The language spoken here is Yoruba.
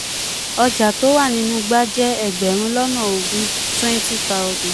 ọjà tó wà nínú igbá jẹ́ ẹgbẹ̀rún lọ́nà ogún ogún (20000).